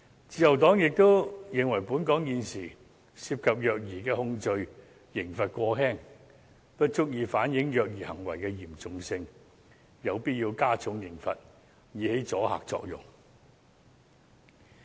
自由黨亦認為本港現時涉及虐兒的控罪刑罰過輕，不足以反映虐兒行為的嚴重性，有必要加重刑罰，以起阻嚇作用。